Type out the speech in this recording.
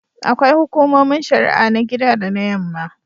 Akwai Hukumomin Shari'a na gida da na Yamma.